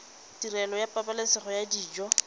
tirelo ya pabalesego ya dijo